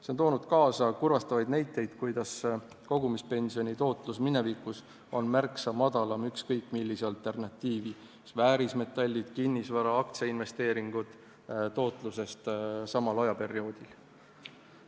See on toonud kaasa kurvastavaid näiteid selle kohta, et kogumispensioni tootlus oli minevikus märksa madalam kui ükskõik millisel alternatiivil – väärismetallid, kinnisvara, aktsiainvesteeringud – samal ajal.